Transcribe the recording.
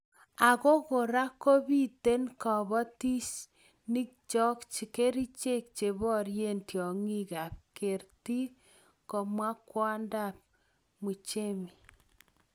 ako kora kobiiten kiboitinikcho kerichek cheborei tiong'ik ak kerti, komwa kwondab Muchemi